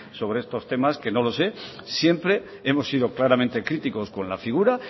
sobre estos temas que no lo sé siempre hemos sido claramente críticos con la figura